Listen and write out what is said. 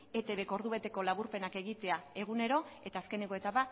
etbk ordubeteko laburpenak egitea egunero eta azkeneko etapa